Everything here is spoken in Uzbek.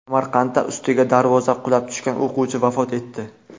Samarqandda ustiga darvoza qulab tushgan o‘quvchi vafot etdi .